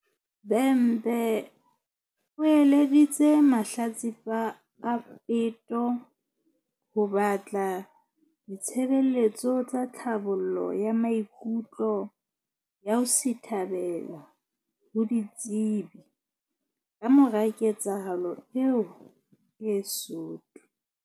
Bhembe o eleditse mahlatsipa a peto ho batla di-tshebeletso tsa tlhabollo ya maikutlo ya ho sithabela ho ditsebi kamora ketsahalo eo e soto.